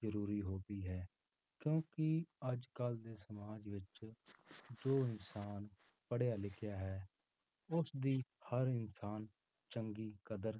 ਜ਼ਰੂਰੀ ਹੁੰਦੀ ਹੈ ਕਿਉਂਕਿ ਅੱਜ ਕੱਲ੍ਹ ਦੇ ਸਮਾਜ ਵਿੱਚ ਜੋ ਇਨਸਾਨ ਪੜ੍ਹਿਆ ਲਿਖਿਆ ਹੈ, ਉਸਦੀ ਹਰ ਇਨਸਾਨ ਚੰਗੀ ਕਦਰ